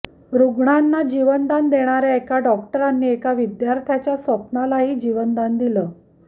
रुग्णांना जीवदान देणाऱ्या डॉक्टरांनी एका विद्यार्थ्याच्या स्वप्नालाही जीवदान दिलं